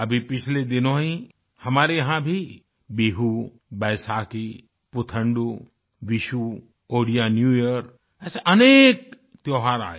अभी पिछले दिनों ही हमारे यहाँ भी बिहू बैसाखी पुथंडू विशू ओड़िया न्यू यियर ऐसे अनेक त्योहार आये